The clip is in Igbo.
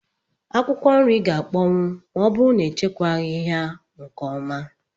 Akwụkwọ nri gá akpọnwu ma ọ bụrụ na echekwaghi ya nke ọma